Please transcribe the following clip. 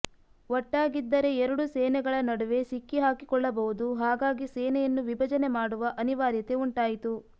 ಒಟ್ಟಾಗಿದ್ದರೆ ಎರಡು ಸೇನೆಗಳ ನಡುವೆ ಸಿಕ್ಕಿಹಾಕಿಕೊಳ್ಳಬಹುದು ಹಾಗಾಗಿ ಸೇನೆಯನ್ನು ವಿಭಜನೆ ಮಾಡುವ ಅನಿವಾರ್ಯತೆ ಉಂಟಾಯಿತು